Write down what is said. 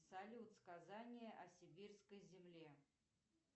салют сказание о сибирской земле